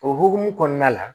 O hukumu kɔnɔna la